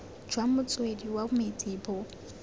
jwa motswedi wa metsi bo